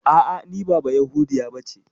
A'a, ni ba bayahudiya bace.